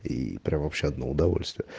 и прямо вообще одно удовольствие